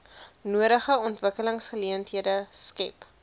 nodige ontwikkelingsgeleenthede skep